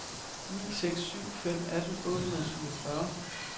ni seks syv fem atten otte hundrede og syvogfyrre